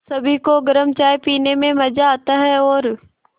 सभी को गरम चाय पीने में मज़ा आता है और